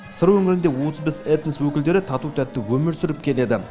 сыр өңірінде отыз бес этнос өкілдері тату тәтті өмір сүріп келеді